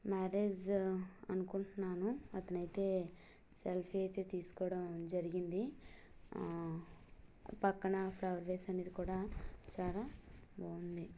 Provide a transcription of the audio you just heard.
Marriage అనుకుంటున్నాను. అతను అయితే సెల్ఫ్ అయితే తీస్కోడం జరిగింది. ఆ పక్కన-- ]